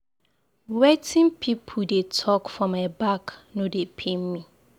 Wetin pipu dey talk for my back no dey pain me.